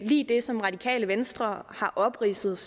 lige det som radikale venstre har opridset